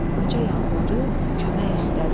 Qoca yalvarıb kömək istədi.